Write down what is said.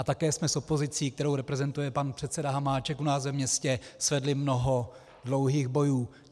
A také jsme s opozicí, kterou reprezentuje pan předseda Hamáček u nás ve městě, svedli mnoho dlouhých bojů.